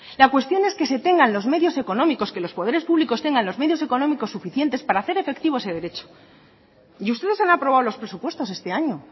la cuestión es que se tengan los medios económicos que los poderes públicos tengan los medios económicos suficientes para hacer efectivo ese derecho y ustedes han aprobado los presupuestos este año